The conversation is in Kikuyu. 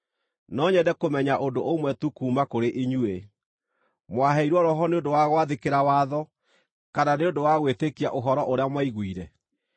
No nyende kũmenya ũndũ ũmwe tu kuuma kũrĩ inyuĩ: Mwaheirwo Roho nĩ ũndũ wa gwathĩkĩra watho, kana nĩ ũndũ wa gwĩtĩkia ũhoro ũrĩa mwaiguire?